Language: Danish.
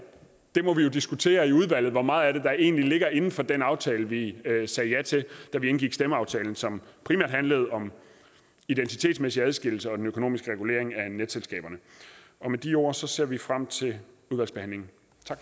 vi må jo diskutere i udvalget hvor meget af det der egentlig ligger inden for den aftale vi sagde ja til da vi indgik stemmeaftalen som primært handlede om identitetsmæssig adskillelse og den økonomiske regulering af netselskaberne med de ord ser vi frem til udvalgsbehandlingen